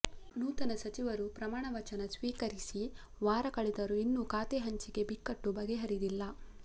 ನೂತನ ಸಚಿವರು ಪ್ರಮಾಣವಚನ ಸ್ವೀಕರಿಸಿವಾರ ಕಳೆದರೂ ಇನ್ನು ಖಾತೆ ಹಂಚಿಕೆ ಬಿಕ್ಕಟ್ಟು ಬಗೆಹರಿದಿಲ್ಲ